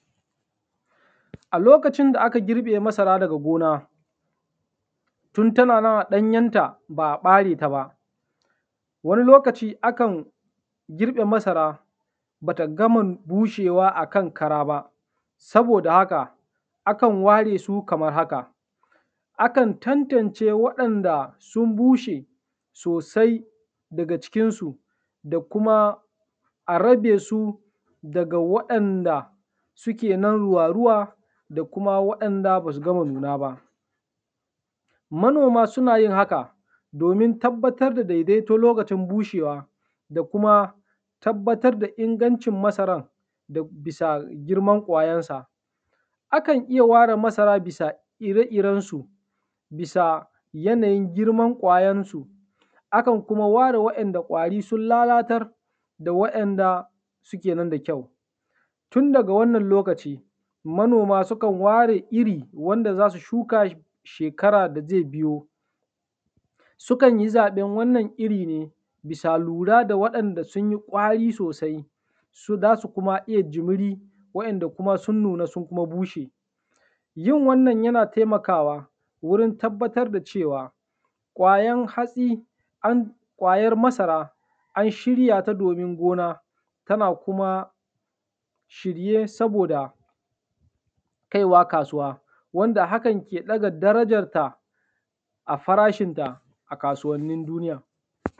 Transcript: A lokacin da aka girbe masara daga gona, tun tana nan a ɗanyenta ba a ɓare ta ba wani lokaci akan girbe masara bata gama bushewa akan kara ba saboda haka, akan ware su kamar haka; akan tantance waɗanda sun bushe sosai daga cikinsu da kuma a rabe su daga waɗanda suke nan ruwa-ruwa da waɗanda basu gama nuna ba. Manoma suna yin haka, domin tabbatar da daidaito lokacin bushewa da kuma tabbatar da ingancin masaran bisa girman ƙwayansa. Akan iya ware masara bisa ire-irensu, bisa yanayin girman ƙwayarsu, akan kuma ware wa’inda ƙwari sun lalatar da wa’inda suke nan da kyau. Tun daga wannan lokaci manoma sukan ware iri wanda za su shuka shekara da zai biyo, sukan yi zaɓen wannan iri ne, bisa lura da waɗanda sun yi ƙwari sosai, za su kuma iya jumiri, waɗanda sun nuna sun kuma bushe. Yin wannan yana taimakawa wurin tabbatar da cewa ƙwayan hatsi an, ƙwayar masara an shirya ta domin gona tana kuma shirye saboda kaiwa kasuwa, wanda hakan ke ɗaga darajarta a farashinta a kasuwa.